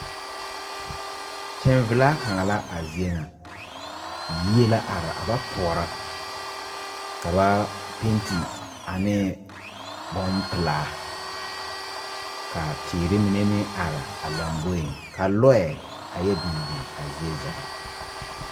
Teng velaa kanga la a zeɛ nga yie la arẽ a ba poɔro ka ba penti ane bun pelaa ka teere mene meng arẽ a lɔmboɛ ka lɔɛ a ye bin bin a zeɛ zaa.